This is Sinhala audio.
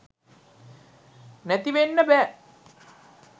නැති වෙන්න බෑ.